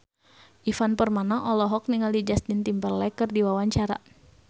Ivan Permana olohok ningali Justin Timberlake keur diwawancara